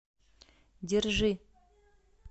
держи